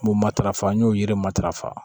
N b'o matarafa n y'o yiri matarafa